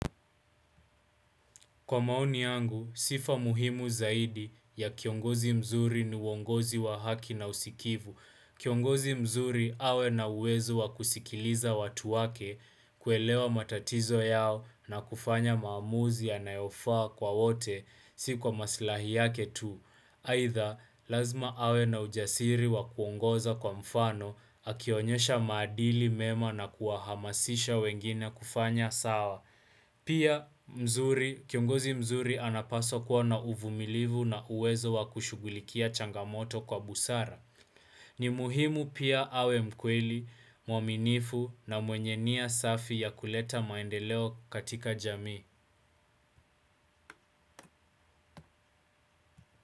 Kwa maoni yangu, sifa muhimu zaidi ya kiongozi mzuri ni uongozi wa haki na usikivu. Kiongozi mzuri awe na uwezo wa kusikiliza watu wake kuelewa matatizo yao na kufanya maamuzi yanayofaa kwa wote si kwa maslahi yake tu. Aidha, lazima awe na ujasiri wa kuongoza kwa mfano akionyesha maadili mema na kuwahamasisha wengine kufanya sawa. Pia mzuri, kiongozi mzuri anapaswa kuwa na uvumilivu na uwezo wa kushugulikia changamoto kwa busara. Ni muhimu pia awe mkweli, mwaminifu na mwenye nia safi ya kuleta maendeleo katika jamii.